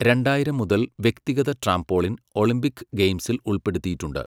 രണ്ടായിരം മുതൽ, വ്യക്തിഗത ട്രാംപോളിൻ ഒളിമ്പിക് ഗെയിംസിൽ ഉൾപ്പെടുത്തിയിട്ടുണ്ട്.